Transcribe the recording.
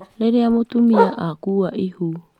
Rĩrĩa mũtumia akuua ihu